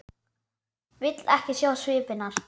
Vill ekki sjá svip hennar.